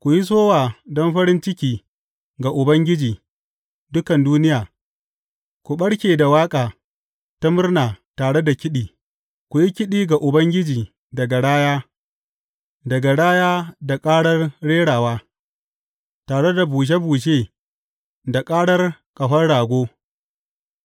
Ku yi sowa don farin ciki ga Ubangiji, dukan duniya, ku ɓarke da waƙa ta murna tare da kiɗi; ku yi kiɗi ga Ubangiji da garaya, da garaya da ƙarar rerawa, tare da bushe bushe da karar ƙahon rago,